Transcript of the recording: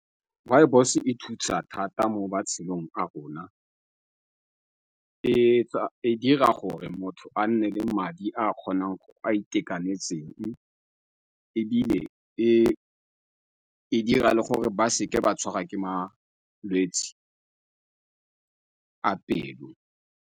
Rooibos e thusa thata mo matshelong a rona. e dira gore motho a nne le madi a kgonang, a a itekanetseng ebile e dira le gore ba seke ba tshwarwa ke malwetse a pelo.